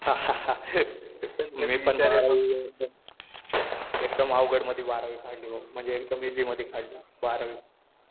मी पण बारावी एकदम अवघड मध्ये बारावी काढली. म्हणजे एकदम इझी मध्ये काढली बारावी.